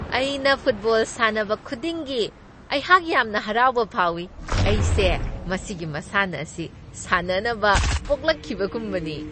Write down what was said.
ꯑꯩꯅ ꯐꯨꯠꯕꯣꯜ ꯁꯥꯟꯅꯕ ꯈꯨꯗꯤꯡꯒꯤ, ꯑꯩꯍꯥꯛ ꯌꯥꯝꯅ ꯍꯔꯥꯎꯕ ꯐꯥꯎꯏ꯫ ꯑꯩꯁꯦ ꯃꯁꯤꯒꯤ ꯃꯁꯥꯟꯅ ꯑꯁꯤ ꯁꯥꯟꯅꯅꯕ ꯄꯣꯛꯂꯛꯈꯤꯕꯒꯨꯝꯕꯅꯤ꯫